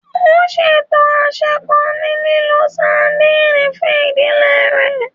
Ó ṣètò àsè kan ní lílo sadìnìnnì fún ìdílé rẹ̀